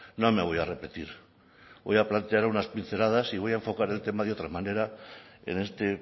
no me voy a repetir voy a plantear unas pinceladas y voy a enfocar el tema de otra manera en este